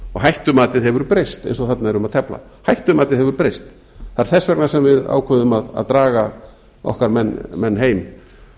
hættumatið hefur breyst eins og þarna er um að tefla hættumatið hefur breyst það er þess vegna sem við ákveðum að draga okkar menn heim